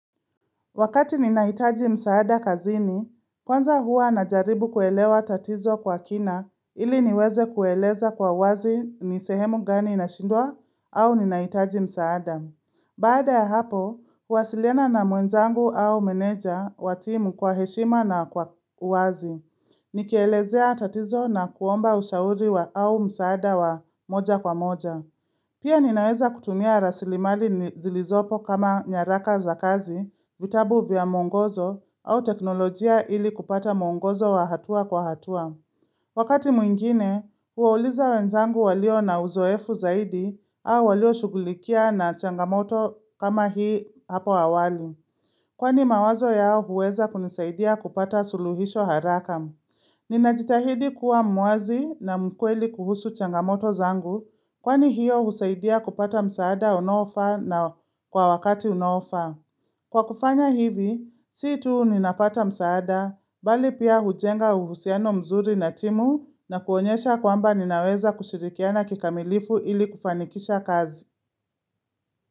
Wakati ninahitaji msaada kazini, kwanza hua na jaribu kuelewa tatizo kwa kina ili niweze kueleza kwa wazi nisehemu gani nashindwa au ninaitaji msaada. Baada ya hapo, kuwasiliana na mwenzangu au meneja watimu kwa heshima na kwa wazi. Nikelezea tatizo na kuomba ushauri wa au msaada wa moja kwa moja. Pia ninaweza kutumia rasili mali zilizopo kama nyaraka za kazi, vitabu vya muongozo, au teknolojia ili kupata muongozo wa hatua kwa hatua. Wakati mwingine, huwauliza wenzangu walio na uzoefu zaidi, au walio shugulikia na changamoto kama hii hapo awali. Kwani mawazo yao huweza kunisaidia kupata suluhisho haraka. Nina jitahidi kuwa muazi na mkweli kuhusu changamoto zangu kwani hiyo husaidia kupata msaada unaofa na kwa wakati unaofa. Kwa kufanya hivi, si tu ninapata msaada, bali pia hujenga uhusiano mzuri na timu na kuonyesha kwamba ninaweza kushirikiana kikamilifu ili kufanikisha kazi.